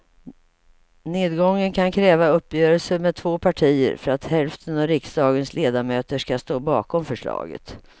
Nedgången kan kräva uppgörelser med två partier för att hälften av riksdagens ledamöter ska stå bakom förslaget.